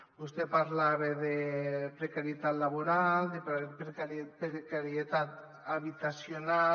vostè parlava de precarietat laboral de precarietat habitacional